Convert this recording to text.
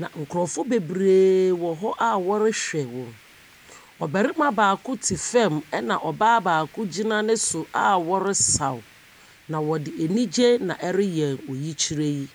na nkorɔfoɔ bebree wɔ hɔ a ɔrehwɛ wɔn. Ɔbarima baako te fam ɛna ɔbaa baako gyina ne so a ɔresaw. Na ɔde anigyeɛ na ɛreyɛ oyikyerɛ yi.